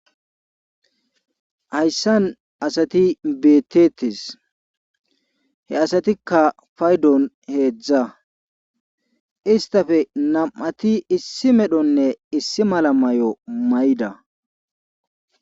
Hayssan asati beettetes he asatikka faydon heedzdza istafe nam7ati issi medhonne issi mala may7o mayda.